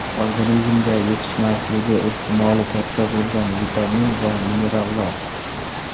Organizmda yetishmasligi ehtimoli katta bo‘lgan vitamin va minerallar.